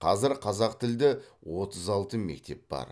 қазір қазақтілді отыз алты мектеп бар